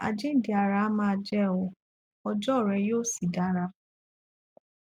àjíǹde ara á máa jẹ o ọjọ ọa rẹ yóò sì dára